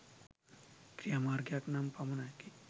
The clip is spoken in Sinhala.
ක්‍රියාමාර්ගයක් නම් පමණකි.